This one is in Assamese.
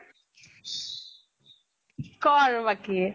কʼ আৰু বাকী।